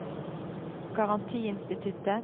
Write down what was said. garantiinstituttet